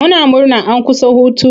Muna murna an kusa hutu.